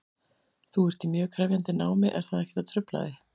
Þú ert í mjög krefjandi námi, er það ekkert að trufla þig?